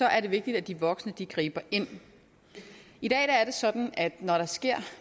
er det vigtigt at de voksne griber ind i dag er det sådan at når der sker